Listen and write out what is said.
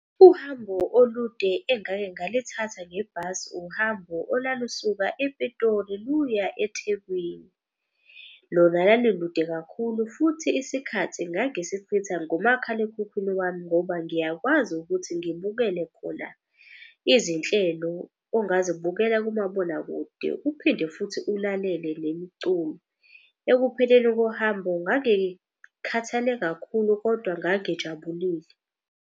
Uhambo olude engake ngalithatha ngebhasi uhambo olalusuka ePitoli luya eThekwini. Lona lalulude kakhulu futhi isikhathi ngangisichitha ngomakhalekhukhwini wami ngoba ngiyakwazi ukuthi ngibukele khona izinhlelo ongazibukela kumabonakude, uphinde futhi ulalele nemiculo. Ekupheleni kohambo ngangikhathale kakhulu kodwa ngangijabulile.